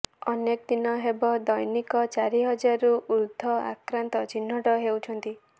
ଅନେକ ଦିନ ହେବ ଦୈନିକ ଚାରି ହଜାରରୁ ଉର୍ଦ୍ଧ୍ବ ଆକ୍ରାନ୍ତ ଚିହ୍ନଟ ହେଉଛନ୍ତି